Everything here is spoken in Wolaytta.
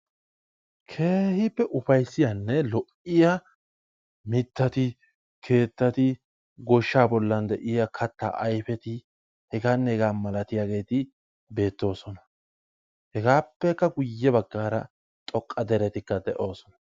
Keehippe ufayssiyanne lo''iya mittati, keettati, goshshaa bollan de'iya katta ayfeti hegaanne hegaa malatiyageeti beettoosona. Hegaappekka guyye baggaara xoqqa derettikka de'oosona.